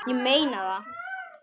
Ég meina það!